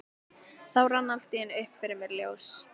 Þá rann allt í einu upp fyrir mér ljós.